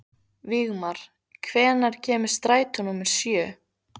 Vígmar, hvenær kemur strætó númer sjö?